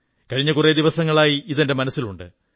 കഴിഞ്ഞ കുറേ ദിവസങ്ങളായി ഇതെന്റെ മനസ്സിലുണ്ട്